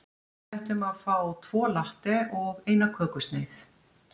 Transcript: Við ætlum að fá tvo latte og eina kökusneið.